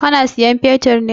Ka na sayan fetir ne?